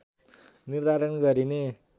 निर्धारण गरिने